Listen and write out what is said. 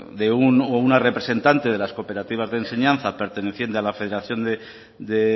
de un o una representante de las cooperativas de enseñanza perteneciente a la federación de